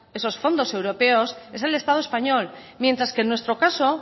esos fondos europeos es el estado español mientras que en nuestro caso